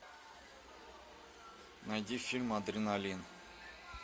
найди фильм адреналин